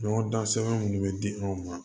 Ɲɔgɔn dan sɛbɛn minnu bɛ di aw ma